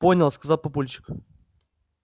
понял сказал папульчик